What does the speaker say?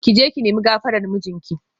Ki je ki nemi gafarar mijinki